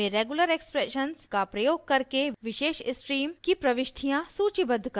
awk में regular expression का प्रयोग करके विशेष स्ट्रीम की प्रविष्टियाँ सूचीबद्ध करना